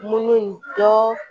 Mun ni dɔ